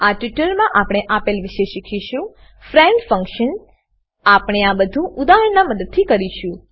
આ ટ્યુટોરીયલમાં આપણે આપેલ વિશે શીખીશું ફ્રેન્ડ ફંકશન ફ્રેન્ડ ફંક્શન આપણે આ બધુ ઉદાહરણનાં મદદથી કરીશું